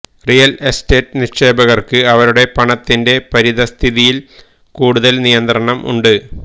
real estate നിക്ഷേപകർക്ക് അവരുടെ പണത്തിന്റെ പരിതസ്ഥിതിയിൽ കൂടുതൽ നിയന്ത്രണം ഉണ്ട്